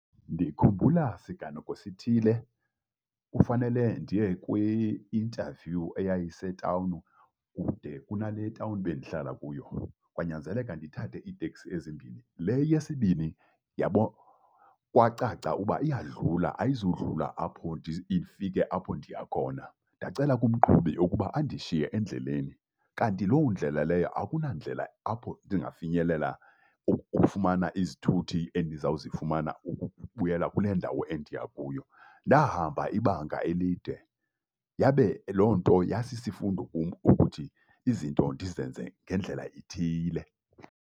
Ndikhumbula siganeko sithile kufanele ndiye kwi-interview eyayisetawuni kude kunale tawuni bendihlala kuyo. Kwanyanzeleka ndithathe iiteksi ezimbini. Le yesibini kwacaca uba iyadlula, ayizudlula apho, ifike apho ndiya khona. Ndacela umqhubi ukuba andishiye endleleni, kanti loo ndlela leyo akunandlela apho ndingafinyelela ukufumana izithuthi endizawuzifumana ukubuyela kule ndawo endiya kuyo. Ndahamba ibanga elide, yabe loo nto yasisifundo kum ukuthi izinto ndizenze ngendlela ithile.